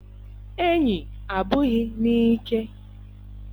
Enyi abụghị n'ike